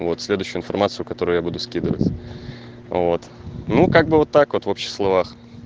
вот следующую информацию которую я буду скидывать а вот ну как бы вот так вот в общих словах